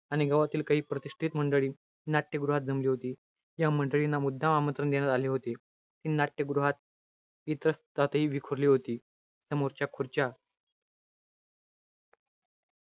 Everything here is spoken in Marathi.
आणि गावातील काही प्रतिष्ठित मंडळी, नाट्यगृहात जमली होती. या मंडळींना मुद्दाम आमंत्रण देण्यात आले होते. हे नाट्यगृहात विखुरली विखुरली होती. समोरच्या खुर्च्या,